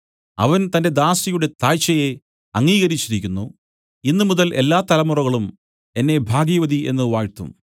അവൻ തന്റെ ദാസിയുടെ താഴ്ചയെ അംഗീകരിച്ചിരിക്കുന്നു ഇന്നുമുതൽ എല്ലാ തലമുറകളും എന്നെ ഭാഗ്യവതി എന്നു വാഴ്ത്തും